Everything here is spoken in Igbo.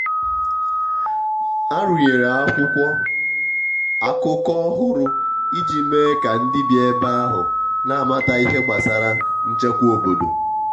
a rụnyere akwụkwọ akụkọ ọhụrụ iji mee ka ndị bi ebe ahụ n'amata ihe gbasara nchekwa obodo.